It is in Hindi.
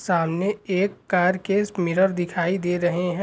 सामने एक कार के मिरर दिखाई दे रहे---